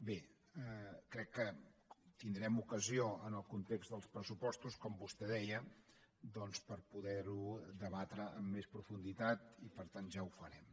bé crec que tindrem ocasió en el context dels pressupostos com vostè deia de poder ho debatre amb més profunditat i per tant ja ho farem